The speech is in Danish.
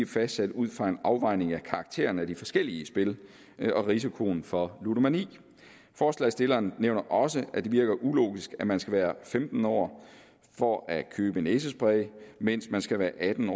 fastsat ud fra en afvejning af karakteren af de forskellige spil og risikoen for ludomani forslagsstillerne nævner også at det virker ulogisk at man skal være femten år for at købe næsespray mens man skal være atten